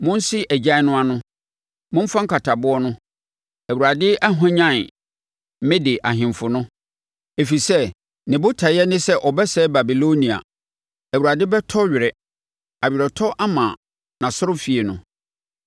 “Monse agyan no ano! Momfa nkataboɔ no! Awurade ahwanyane Mede ahemfo no, ɛfiri sɛ ne botaeɛ ne sɛ ɔbɛsɛe Babilonia. Awurade bɛtɔ were aweretɔ ama nʼasɔrefie no.